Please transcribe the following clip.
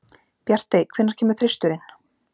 Bjartey, hvenær kemur þristurinn?